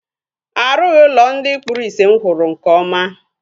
A rughi ụlọ ndị kpụrụ isi mụ hụrụ nke ọma